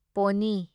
pony